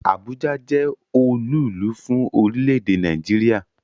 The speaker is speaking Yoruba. Abuja jẹ́ olúùlú fún orílẹ̀-èdè Nàìjíríà